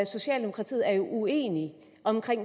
socialdemokratiet er jo uenige om